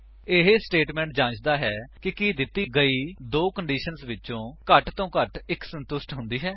ਇਹ ਸਟੇਟਮੇਂਟ ਜਾਂਚਦਾ ਹੈ ਕਿ ਕੀ ਦਿੱਤੀ ਗਈ ਦੋ ਕੰਡੀਸ਼ੰਸ ਵਿੱਚੋਂ ਘੱਟ ਵਲੋਂ ਘੱਟ ਇੱਕ ਸੰਤੁਸ਼ਟ ਹੁੰਦੀ ਹੈ